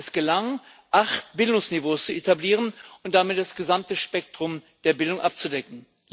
Es gelang, acht Bildungsniveaus zu etablieren und damit das gesamte Spektrum der Bildung abzudecken.